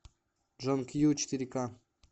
джон кью четыре ка